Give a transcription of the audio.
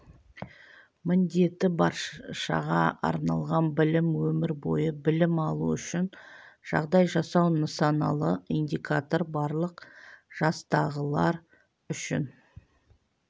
міндеті баршаға арналған білім өмір бойы білім алу үшін жағдай жасау нысаналы индикатор барлық жастағылар үшін